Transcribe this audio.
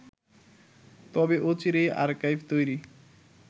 তবে অচিরেই আর্কাইভ তৈরি